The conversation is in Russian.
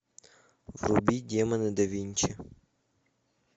вруби демоны да винчи